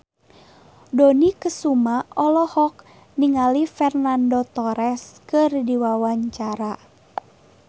Dony Kesuma olohok ningali Fernando Torres keur diwawancara